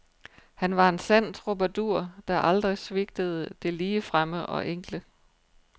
Han var en sand troubadour, der aldrig svigtede det ligefremme og enkle.